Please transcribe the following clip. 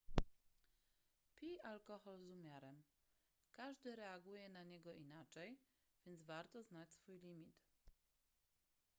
pij alkohol z umiarem każdy reaguje na niego inaczej więc warto znać swój limit